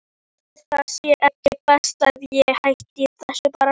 Ætli það sé ekki best að ég hætti þessu bara.